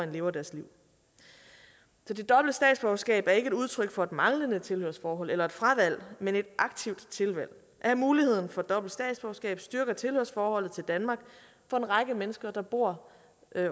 lever deres liv så det dobbelte statsborgerskab er ikke et udtryk for et manglende tilhørsforhold eller et fravalg men et aktivt tilvalg at have muligheden for dobbelt statsborgerskab styrker tilhørsforholdet til danmark for en række mennesker der bor